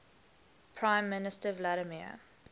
prime minister vladimir